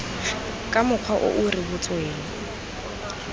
ka mokgwa o o rebotsweng